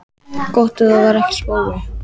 Gott ef það var ekki spói.